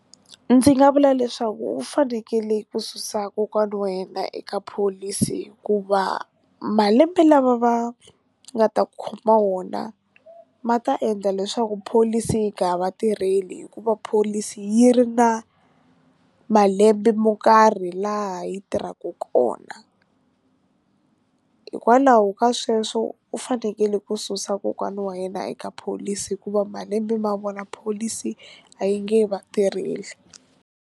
Ndzi nga vula leswaku u fanekele ku susa kokwani wa yena eka pholisi hikuva malembe lama va nga ta khoma wona ma ta endla leswaku pholisi yi nga va tirheli hikuva pholisi yi ri na malembe mo karhi laha yi tirhaka kona, hikwalaho ka sweswo u fanekele ku susa kokwana wa yena eka pholisi hikuva malembe ma vona pholisi a yi nge va tirheli.